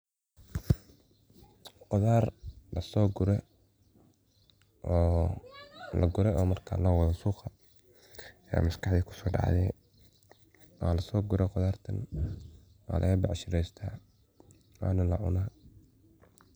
Qudar lasogure , lagure oo marka suqa lowado aya maskaxdeyda kusodacde, wasogure qudhartan walaga bec shireysta, wana lacuna.